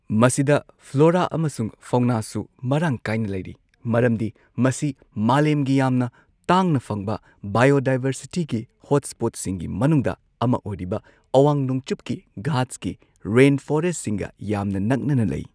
ꯃꯁꯤꯗ ꯐ꯭ꯂꯣꯔꯥ ꯑꯃꯁꯨꯡ ꯐꯥꯎꯅꯥꯁꯨ ꯃꯔꯥꯡ ꯀꯥꯏꯅ ꯂꯩꯔꯤ ꯃꯔꯝꯗꯤ ꯃꯁꯤ ꯃꯥꯂꯦꯝꯒꯤ ꯌꯥꯝꯅ ꯇꯥꯡꯅ ꯐꯪꯕ ꯕꯥꯏꯑꯣꯗꯥꯏꯚꯔꯁꯤꯇꯤꯒꯤ ꯍꯣꯠꯁ꯭ꯄꯣꯠꯁꯤꯡꯒꯤ ꯃꯅꯨꯡꯗ ꯑꯃ ꯑꯣꯏꯔꯤꯕ ꯑꯋꯥꯡ ꯅꯣꯡꯆꯨꯞꯀꯤ ꯘꯥꯠꯁꯀꯤ ꯔꯦꯟꯐꯣꯔꯦꯁꯠꯁꯤꯡꯒ ꯌꯥꯝꯅ ꯅꯛꯅꯅ ꯂꯩ꯫